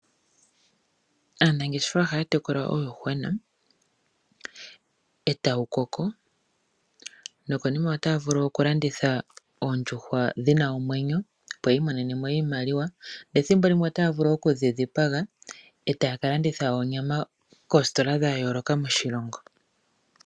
Aanangeshefa ohaya tekula uuyuhwena e tawu koko, nokonima otaya vulu okulanditha oondjuhwa dhi na omwenyo, opo yi imonene mo iimaliwa. Nethimbo limwe otaya vulu oku dhi dhipaga e taya ka landitha oonyama koositola dha yooloka moshilongo.